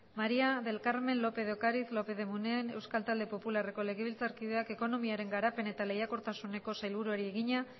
maría del carmen lópez de ocariz lópez de munain euskal talde popularreko legebiltzarkideak ekonomiaren garapen eta lehiakortasuneko sailburuari egina